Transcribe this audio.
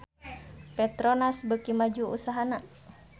Petronas beuki maju usahana